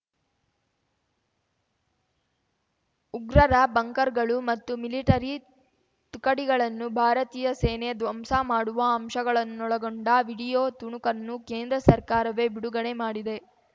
ಉಗ್ರರ ಬಂಕರ್‌ಗಳು ಮತ್ತು ಮಿಲಿಟರಿ ತುಕಡಿಗಳನ್ನು ಭಾರತೀಯ ಸೇನೆ ಧ್ವಂಸ ಮಾಡುವ ಅಂಶಗಳನ್ನೊಳಗೊಂಡ ವಿಡಿಯೋ ತುಣುಕನ್ನು ಕೇಂದ್ರ ಸರ್ಕಾರವೇ ಬಿಡುಗಡೆ ಮಾಡಿದೆ